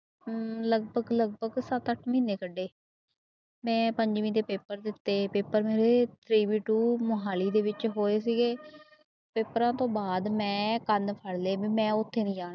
ਲਗਪਗ ਲਗਪਗ ਸੱਤ ਅੱਠ ਮਹੀਨੇ ਕੱਢੇ ਮੈਂ ਪੰਜਵੀਂ ਦੇ ਪੇਪਰ ਦਿੱਤੇ ਪੇਪਰ ਮੇਰੇ ਮੁਹਾਲੀ ਦੇ ਵਿੱਚ ਹੋਏ ਸੀਗੇ, ਪੇਪਰਾਂ ਤੋਂ ਬਾਅਦ ਮੈਂ ਕੰਨ ਫੜ੍ਹ ਲਏ ਵੀ ਮੈਂ ਉੱਥੇ ਨੀ ਜਾਣਾ।